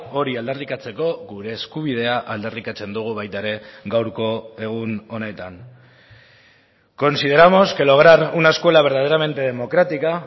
hori aldarrikatzeko gure eskubidea aldarrikatzen dugu baita ere gaurko egun honetan consideramos que lograr una escuela verdaderamente democrática